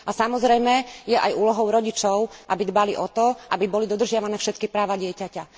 A samozrejme je aj úlohou rodičov, aby dbali o to, aby boli dodržiavané všetky práva dieťaťa.